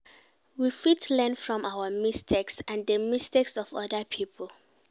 We fit learn from our mistakes and di mistakes of oda pipo